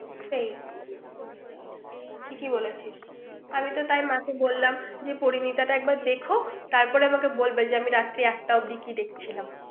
সেই ঠিকই বলেছিস আমি তো তাই মাকে বললাম পরিমিতা তা একবার দেখো তারপর আমাকে বলবে রাত্রি একটা অব্দি কি দেখছিলাম